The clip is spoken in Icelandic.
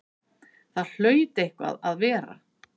Það hlaut eitthvað að vera!